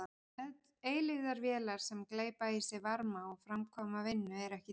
Eilífðarvélar sem gleypa í sig varma og framkvæma vinnu eru ekki til.